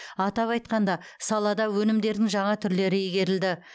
атап айтқанда салада өнімдердің жаңа түрлері игерілді